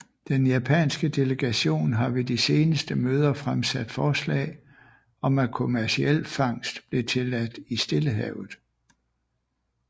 Den japanske delegation har ved de seneste møder fremsat forslag om at kommerciel fangst blev tilladt i Stillehavet